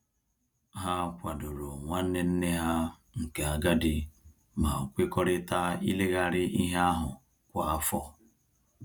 Ha kwadoro nwanne nne ha nke agadi ma kwekọrịta ileghari ihe ahụ kwa afọ